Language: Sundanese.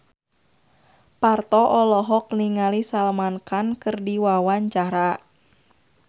Parto olohok ningali Salman Khan keur diwawancara